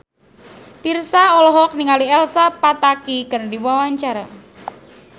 Virzha olohok ningali Elsa Pataky keur diwawancara